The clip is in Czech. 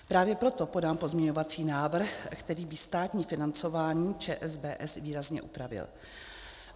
Právě proto podám pozměňovací návrh, který by státní financování ČSBS výrazně upravil.